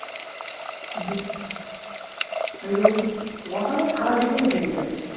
উম হুম আমি বললাম কথাটা তো সারাজীবনই থেকে যাবে